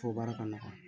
Fɔ baara ka nɔgɔ